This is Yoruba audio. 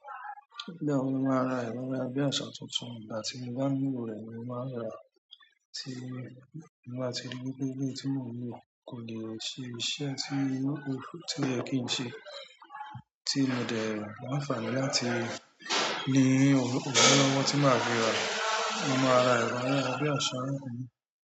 Nígbà wo lo má ra ẹ̀rọ ayárabíàṣá tuntun? Ìgbà tí mo bá nílò rẹ ni mo máa rà á, tí mo bá ti rí wípé eléyìí tí mò ń lo, kò lè ṣe iṣẹ́ tí oyẹ kí n ṣe, tí mo dẹ̀ ni àǹfààní láti ni owo lọwọ ti maa fi ra, mo máa ra ẹ̀rọ ayárabíàṣá náà.